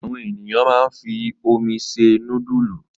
Àwọn ènìyàn máa ń fi omi se núdúlù.